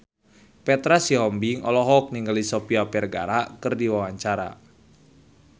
Petra Sihombing olohok ningali Sofia Vergara keur diwawancara